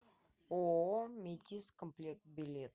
ооо метиз комплект билет